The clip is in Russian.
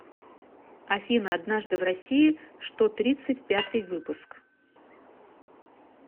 афина однажды в россии что тридцать пятый выпуск